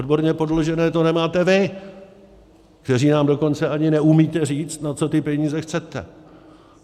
Odborně podložené to nemáte vy, kteří nám dokonce ani neumíte říct, na co ty peníze chcete!